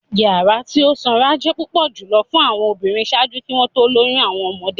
Yara ti o sanra jẹ pupọ julọ fun awọn obinrin ṣaaju ki wọn to loyun awọn ọmọde.